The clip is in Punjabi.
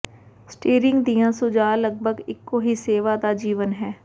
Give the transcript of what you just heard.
ਸਟੀਅਰਿੰਗ ਦੀਆਂ ਸੁਝਾਅ ਲਗਭਗ ਇੱਕੋ ਹੀ ਸੇਵਾ ਦਾ ਜੀਵਨ ਹੈ